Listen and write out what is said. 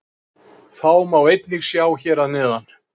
Þá má einnig sjá hér að neðan.